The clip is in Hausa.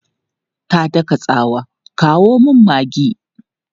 Ta daka tsawa, 'kawo min maggi!'